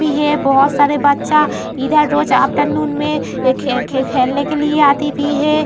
भी है बहोत सारे बच्चा इधर रोज आफ्टरनून में खे खेलने की लिए आती भी है।